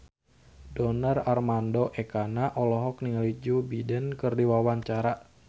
Donar Armando Ekana olohok ningali Joe Biden keur diwawancara